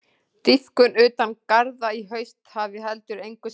Dýpkun utan garða í haust hafi heldur engu skilað.